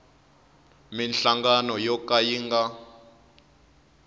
minhlangano yo ka yi nga